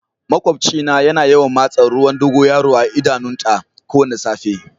Maƙwabci na ya na yawan masa ruwan dogoyaro a'idanun ta kowani safe.